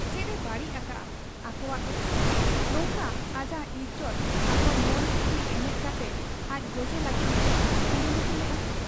ᱪᱮᱫ ᱮ ᱵᱟᱹᱲᱤᱡ ᱟᱠᱟᱟᱜ ᱟ ᱟᱠᱚᱣᱟᱜ ᱫᱚ ᱱᱚᱝᱠᱟ ᱟᱡᱟᱜ ᱤᱡᱚᱛ ᱟᱶ ᱢᱚᱱᱠᱩᱥᱤ ᱮᱱᱮᱡ ᱠᱟᱛᱮ ᱟᱡ ᱜᱚᱡᱮ ᱞᱟᱹᱜᱤᱫ ᱦᱚᱸᱠᱚ ᱠᱩᱨᱩᱢᱩᱴᱩ ᱞᱮᱜ ᱟ ᱾